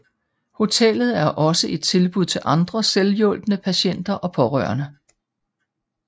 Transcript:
Hotellet er også et tilbud til andre selvhjulpne patienter og pårørende